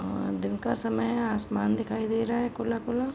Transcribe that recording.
और दिन का समय है आसमान दिखाई दे रहा है खुला -खुला --